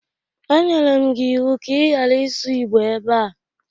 E nyere m gi iwu ka ị ghara isu igbo ebe a!